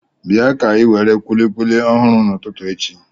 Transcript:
Bịa ka inwere kùlikùli ọhụrụ n'ụtụtụ echi